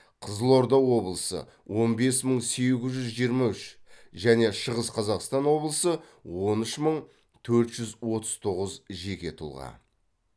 қызылорда облысы он бес мың сегіз жүз жиырма үш және шығыс қазақстан облысы он үш мың төрт жүз отыз тоғыз жеке тұлға